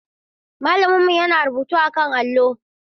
Malaminmu yana rubutu akan allo.